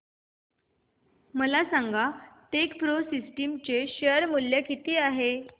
मला सांगा Techpro Systems चे शेअर मूल्य किती आहे